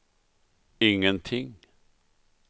ingenting